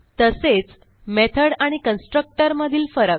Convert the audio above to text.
तसेच मेथॉड आणि कन्स्ट्रक्टर मधील फरक